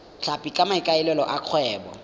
tlhapi ka maikaelelo a kgwebo